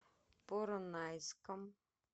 поронайском